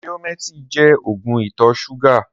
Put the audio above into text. Riómètí jẹ́ ógùn itọ ṣúgà